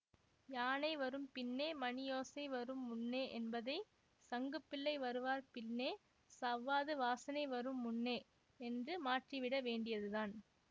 யானை வரும் பின்னே மணியோசை வரும் முன்னே என்பதை சங்குப்பிள்ளை வருவார் பின்னே சவ்வாது வாசனை வரும் முன்னே என்று மாற்றிவிட வேண்டியது தான்